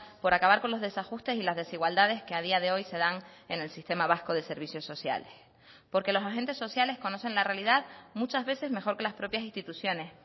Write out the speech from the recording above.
por acabar con los desajustes y las desigualdades que a día de hoy se dan en el sistema vasco de servicios sociales porque los agentes sociales conocen la realidad muchas veces mejor que las propias instituciones